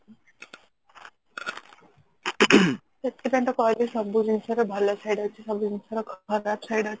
ସେଥିପାଇଁ ତ କହିଲି ସବୁ ଜିନିଷ ର ଭଲ side ଅଛି ସବୁ ଜିନିଷର ଖରାପ side ଅଛି